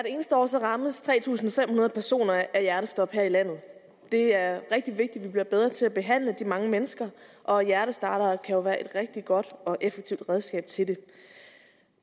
eneste år rammes tre tusind fem hundrede personer af hjertestop her i landet det er rigtig vigtigt at vi bliver bedre til at behandle de mange mennesker og hjertestartere kan jo være et rigtig godt og effektivt redskab til det